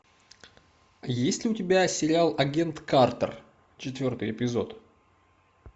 есть ли у тебя сериал агент картер четвертый эпизод